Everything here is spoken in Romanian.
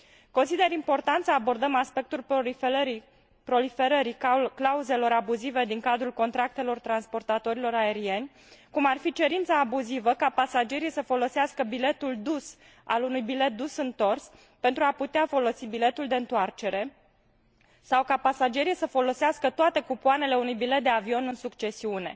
Consider important să abordăm aspectul proliferării clauzelor abuzive din cadrul contractelor transportatorilor aerieni, cum ar fi cerința abuzivă ca pasagerii să folosească biletul dus al unui bilet dus întors pentru a putea folosi biletul de întoarcere sau ca pasagerii să folosească toate cupoanele unui bilet de avion în succesiune.